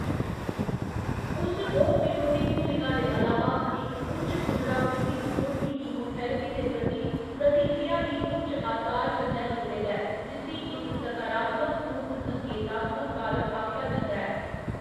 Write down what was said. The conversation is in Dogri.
उस रोगनिरोधी भूमिका दे अलावा, इक उच्च पुनरावृत्ति स्कोर बी कीमोथेरेपी दे प्रति प्रतिक्रिया गी उच्च असार कन्नै जुड़े दा ऐ, जिस्सी इक सकारात्मक पूर्व संकेतात्‍मक कारक आखेआ जंदा ऐ।